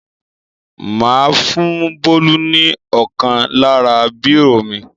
Mà á fún Bólú ní ọ̀kan lára bírò mi.